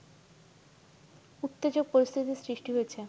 উত্তেজক পরিস্থিতি সৃষ্টি হয়েছে